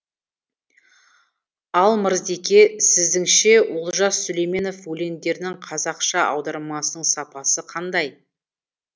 ал мырзеке сіздіңше олжас сүлейменов өлеңдерінің қазақша аудармасының сапасы қандай